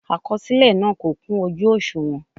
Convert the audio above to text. Àkọsílẹ náà kò kún ojú òṣùwọ̀n.